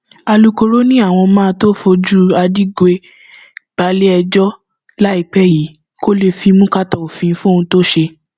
alūkkóró ni àwọn máa tóó fojú adigwe balẹẹjọ láìpẹ yìí kó lè fimú kàtà òfin fóhun tó ṣe